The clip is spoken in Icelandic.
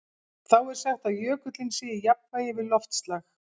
Þá er sagt að jökullinn sé í jafnvægi við loftslag.